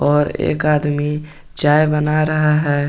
और एक आदमी चाय बना रहा है।